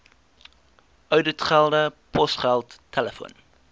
ouditgelde posgeld telefoon